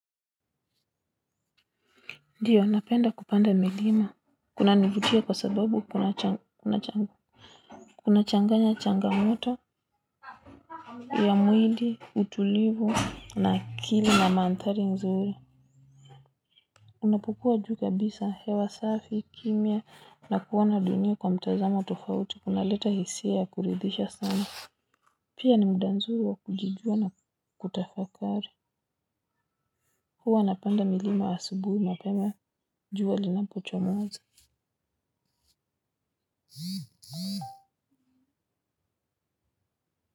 Ndiyo, napenda kupanda milima, kunanivutia kwa sababu kuna changanya changa moto ya mwili, utulivu, na kili na mandhari nzuri. Unapokua juu kabisa, hewa safi, kimya, na kuona dunia kwa mtazamo tofauti una leta hisia ya kuridhisha sana pia ni muda mzuri wa kujijua na kutafakari. Huwa napanda milima asubuhi mapema juwa linapochomoza.